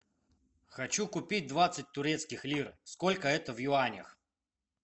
хочу купить двадцать турецких лир сколько это в юанях